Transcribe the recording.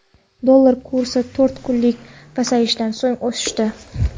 Dollar kursi to‘rt kunlik pasayishdan so‘ng oshdi.